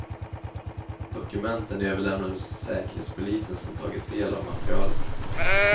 Dokumenten överlämnades till säkerhetspolisen, som tagit del av materialet.